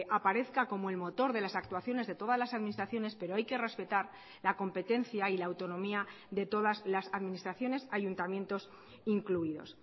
aparezca como el motor de las actuaciones de todas las administraciones pero hay que respetar la competencia y la autonomía de todas las administraciones ayuntamientos incluidos